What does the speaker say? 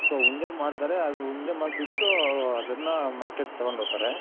so ಉಂಡೆ ಮಾಡ್ತಾರೆ ಅದ್ ಉಂಡೆ ಮಾಡ್ ಬಿಟ್ಟು ಅದನ್ನ Market ಗೆ ತಗೊಂಡ್ ಹೋಗ್ತಾರೆ.